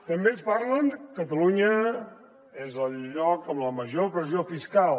també ens parlen que catalunya és el lloc amb la major pressió fiscal